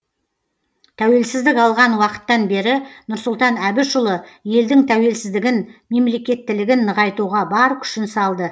тәуелсіздік алған уақыттан бері нұрсұлтан әбішұлы елдің тәуелсіздігін мемлекеттілігін нығайтуға бар күшін салды